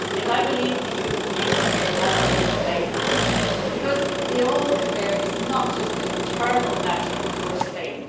I believe the European Union has a role to play in that because the whole affair is not just an internal matter for Spain.